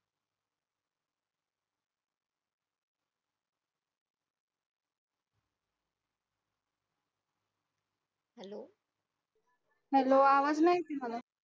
hello आवाज नाही येत आहे मला